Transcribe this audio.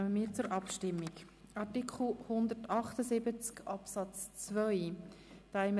Wir stimmen über Artikel 178 Absatz 2 ab.